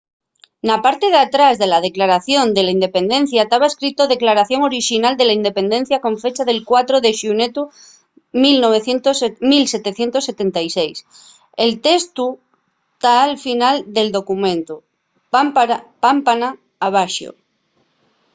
na parte d'atrás de la declaración de la independencia taba escrito declaración orixinal de la independencia con fecha del 4 de xunetu 1776”. el testu ta al final del documentu pámpana abaxo